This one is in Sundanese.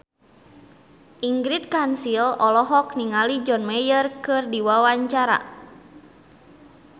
Ingrid Kansil olohok ningali John Mayer keur diwawancara